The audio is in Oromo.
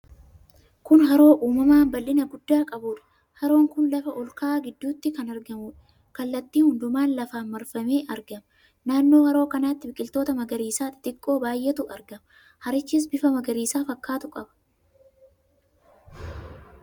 Kun haroo uumamaa bal'ina guddaa qabudha. Haroon kun lafa olka'aa gidduutti kan argamuudha. Kallattii hundumaan lafaan marfamee argama. Naannoo haroo kanaatti biqiltoota magariisa xixiqqoo baay'eetu argama. Harichis bifa magariisa fakkaatu qaba.